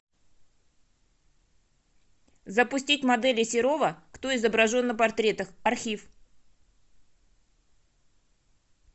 запустить модели серова кто изображен на портретах архив